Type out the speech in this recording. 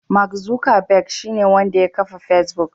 Mark zukerberg shine wanda ya kafa fesbuk.